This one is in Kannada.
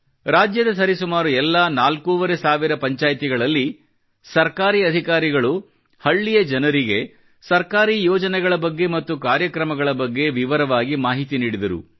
ರಾಜ್ಯದ ಸರಿಸುಮಾರು ಎಲ್ಲಾ ನಾಲ್ಕೂವರೆ ಸಾವಿರ ಪಂಚಾಯ್ತಿಗಳಲ್ಲಿ ಸರ್ಕಾರಿ ಅಧಿಕಾರಿಗಳು ಹಳ್ಳಿಯ ಜನರಿಗೆ ಸರಕಾರೀ ಯೋಜನೆಗಳ ಬಗ್ಗೆ ಮತ್ತು ಕಾರ್ಯಕ್ರಮಗಳ ಬಗ್ಗೆ ವಿವರವಾಗಿ ಮಾಹಿತಿ ನೀಡಿದರು